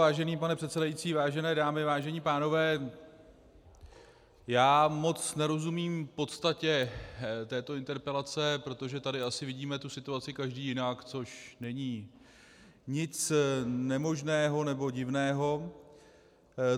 Vážený pane předsedající, vážené dámy, vážení pánové, já moc nerozumím podstatě této interpelace, protože tady asi vidíme tu situaci každý jinak, což není nic nemožného nebo divného.